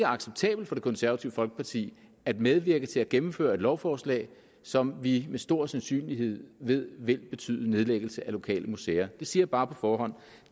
acceptabelt for det konservative folkeparti at medvirke til at gennemføre et lovforslag som vi med stor sandsynlighed ved vil betyde nedlæggelse af lokale museer det siger jeg bare på forhånd